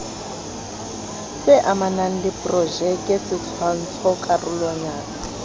amanang le projeke setshwantsho karolwana